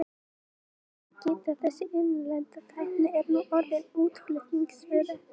Þess má einnig geta að þessi innlenda tækni er nú orðin að útflutningsvöru.